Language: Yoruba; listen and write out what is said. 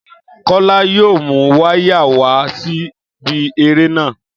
Kólá yóò mu wáyà wa síbi eré náà